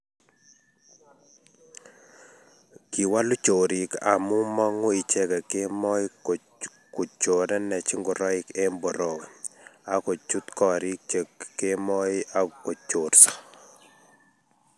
kiwolu chorik amu mong'u icheke kemoi kuchorenech ngoroik eng' borowe aku chut koriik cho kemoi aku chorso